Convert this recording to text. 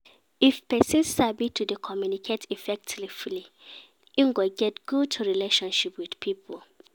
If persin sabi to de communicate effectively im go get good relationship with pipo